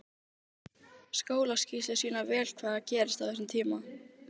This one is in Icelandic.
Skólaskýrslur sýna vel hvað er að gerast á þessum tíma.